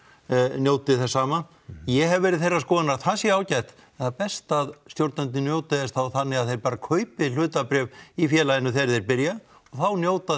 njóti þess sama ég hef verið þeirrar skoðunar að það sé ágætt það er best að stjórnendur njóti þess þá þannig að þeir bara kaupi hlutabréf í félaginu þegar þeir byrja og þá njóta